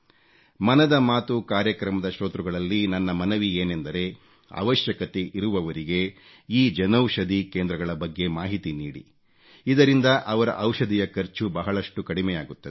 ಮನದ ಮಾತು ಕಾರ್ಯಕ್ರಮದ ಶ್ರೋತೃಗಳಲ್ಲಿ ನನ್ನ ಮನವಿ ಏನೆಂದರೆ ಅವಶ್ಯಕತೆ ಇರುವವರಿಗೆ ಈ ಜನೌಷಧಿ ಕೇಂದ್ರಗಳ ಬಗ್ಗೆ ಮಾಹಿತಿ ನೀಡಿ ಇದರಿಂದ ಅವರ ಔಷಧಿಯ ಖರ್ಚು ಬಹಳಷ್ಟು ಕಡಿಮೆಯಾಗುತ್ತದೆ